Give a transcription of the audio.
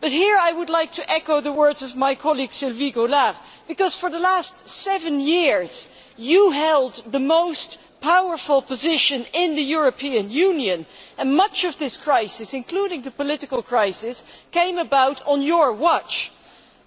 But here I would like to echo the words of my colleague, Sylvie Goulard, because for the last seven years you held the most powerful position in the European Union and much of this crisis, including the political crisis, came about on your watch.